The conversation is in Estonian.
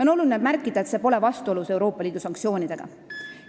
On oluline märkida, et see pole vastuolus Euroopa Liidu sanktsioonidega.